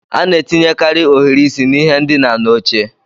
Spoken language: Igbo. A na-etinyekarị ohiri isi n'ihe ndina na oche